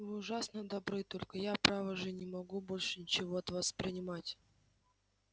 вы ужасно добры только я право же не могу больше ничего от вас принимать